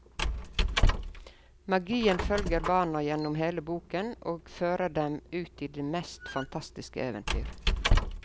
Magien følger barna gjennom hele boken og fører dem ut i de mest fantastiske eventyr.